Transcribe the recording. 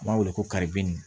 N b'a wele ko karibili